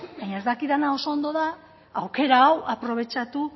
baina ez dakidana oso ondo da aukera hau aprobetxatu